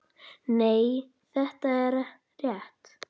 Nei, það er rétt.